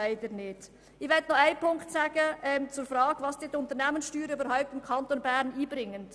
Ich möchte noch auf die Frage eingehen, was die Unternehmenssteuern dem Kanton Bern einbringen.